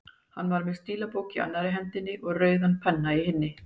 Hann var með stílabók í annarri hendinni og rauðan penna í hinni.